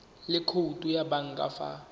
le khoutu ya banka fa